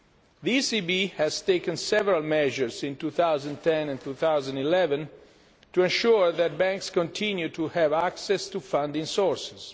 The ECB has taken several measures in 2010 and 2011 to ensure that banks continue to have access to funding sources.